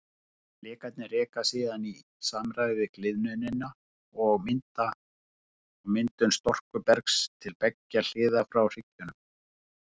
Flekarnir reka síðan í samræmi við gliðnunina og myndun storkubergs til beggja hliða frá hryggjunum.